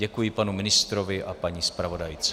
Děkuji panu ministrovi a paní zpravodajce.